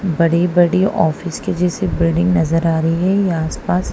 बड़ी-बड़ी ऑफिस के जैसे बिल्डिंग नजर आ रही है ये आसपास।